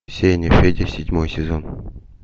сеняфедя седьмой сезон